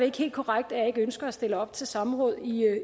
ikke helt korrekt at jeg ikke ønsker at stille op til samråd